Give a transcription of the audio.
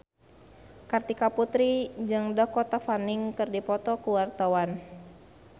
Kartika Putri jeung Dakota Fanning keur dipoto ku wartawan